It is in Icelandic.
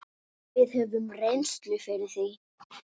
Við höfum reynslu fyrir því.